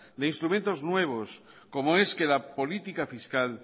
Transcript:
de instrumentos nuevos como es que la política fiscal